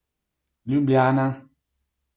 Ljubljana.